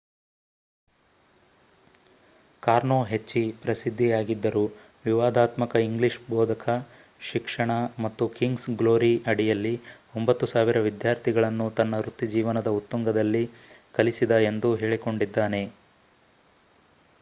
ಕಾರ್ನೋ ಹೆಚ್ಚಿ ಪ್ರಸಿದ್ಧಿಯಾಗಿದ್ದರು ವಿವಾದಾತ್ಮಕ ಇಂಗ್ಲಿಷ್ ಬೋಧಕ ಶಿಕ್ಷಣ ಮತ್ತು ಕಿಂಗ್ಸ್ ಗ್ಲೋರಿ ಅಡಿಯಲ್ಲಿ 9,000 ವಿದ್ಯಾರ್ಥಿಗಳನ್ನು ತನ್ನ ವೃತ್ತಿಜೀವನದ ಉತ್ತುಂಗದಲ್ಲಿ ಕಲಿಸಿದ ಎಂದು ಹೇಳಿಕೊಂಡಿದ್ದಾನೆ